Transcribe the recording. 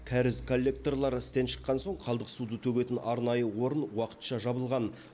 кәріз коллекторлары істен шыққан соң қалдық суды төгетін арнайы орын уақытша жабылған